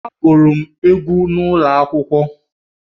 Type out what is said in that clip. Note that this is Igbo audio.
M gụrụ egwú n’ụlọ akwụkwọ